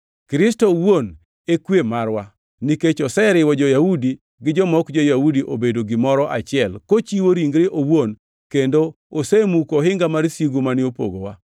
Kristo owuon e kwe marwa, nikech oseriwo jo-Yahudi gi joma ok jo-Yahudi obedo gimoro achiel kochiwo ringre owuon kendo osemuko ohinga mar sigu mane opogowa,